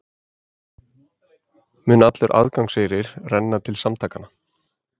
Mun allur aðgangseyrir renna til samtakanna